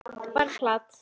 Bara plat.